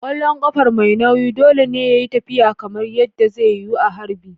Ƙwallon ƙarfe mai nauyi dole ne yayi tafiya kamar yadda zai yiwu a harbi.